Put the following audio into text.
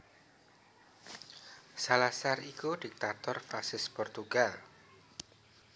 Salazar iku diktator fasis Portugal